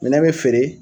Minɛn bɛ feere